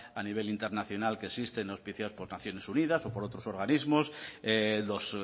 a nivel internacional que existen auspiciados por naciones unidas o por otros organismos los